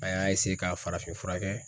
An y'a ka farafin furakɛ.